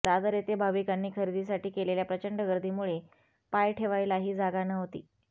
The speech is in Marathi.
दादर येथे भाविकांनी खरेदीसाठी केलेल्या प्रचंड गर्दीमुळे पाय ठेवायलाही जागा नव्हती